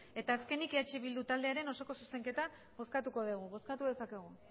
eta azkenik eh bildu taldearen osoko zuzenketa bozkatuko dugu bozkatu dezakegu